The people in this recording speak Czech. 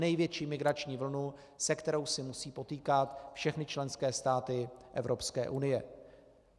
Největší migrační vlnu, se kterou se musí potýkat všechny členské státy Evropské unie.